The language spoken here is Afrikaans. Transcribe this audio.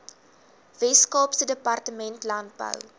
weskaapse departement landbou